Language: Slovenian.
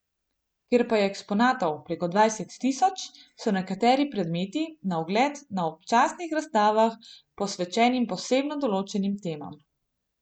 Ker pa je eksponatov preko dvajset tisoč, so nekateri predmeti na ogled na občasnih razstavah, posvečenim posebno določenim temam.